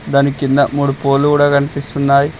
దాని కింద మూడు పోల్లు కూడా కనిపిస్తున్నాయ్.